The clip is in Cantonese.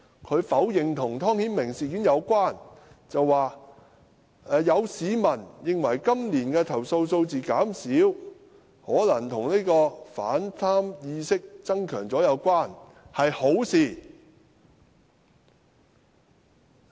他否認這與湯顯明事件有關，說有市民認為今年的投訴數字減少可能與反貪意識增強有關，是好事。